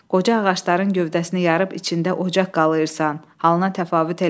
Qoca ağacların gövdəsini yarıb içində ocaq qalırsan, halına təfavüt eləmir.